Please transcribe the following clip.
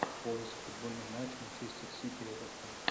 поиск футбольный матч манчестер сити эвертон